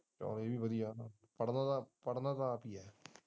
ਚੱਲ ਇਹ ਵੀ ਵਧੀਆ ਪੜ੍ਹਨਾ ਪੜ੍ਹਨਾ ਆਪ ਹੀ ਹੈ।